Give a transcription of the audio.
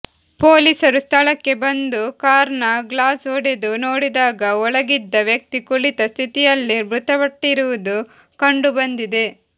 ಪೊಲೀಸರು ಸ್ಥಳಕ್ಕೆ ಬಂದು ಕಾರ್ನ ಗ್ಲಾಸ್ ಒಡೆದು ನೋಡಿದಾಗ ಒಳಗಿದ್ದ ವ್ಯಕ್ತಿ ಕುಳಿತ ಸ್ಥಿತಿಯಲ್ಲೇ ಮೃತಪಟ್ಟಿರುವುದು ಕಂಡು ಬಂದಿದೆ